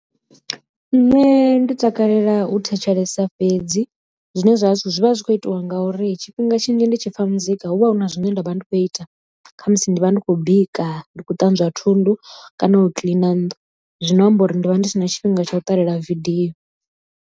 Nṋe ndi takalela u thetshelesa fhedzi zwine zwa vha zwi vha zwi kho itiwa ngauri tshifhinga tshinzhi ndi tshi pfha muzika hu vha hu na zwine nda vha ndi khou ita khamusi ndi vha ndi khou bika, ndi khou ṱanzwa thundu kana u kiḽina nnḓu zwino amba uri ndi vha ndi si na tshifhinga tsha u ṱalela video.